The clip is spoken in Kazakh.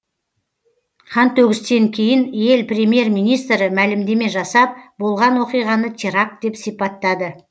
қантөгістен кейін ел премьер министрі мәлімдеме жасап болған оқиғаны теракт деп сипаттады